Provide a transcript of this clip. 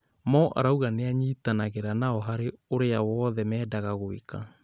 Mo arauga nĩanyitanagĩra nao harĩ ũrĩa wothe mendaga gwĩka